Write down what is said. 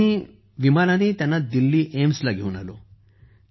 मग आम्ही त्यांना विमानानं दिल्ली एम्सला घेऊन आलो